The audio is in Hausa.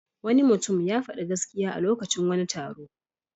Wani mutum ya faɗi gaskiya a lokacin wani taro.